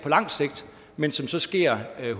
lang sigt men som så sker